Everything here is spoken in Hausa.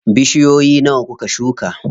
Bishiyoyi nawa kuka shuka?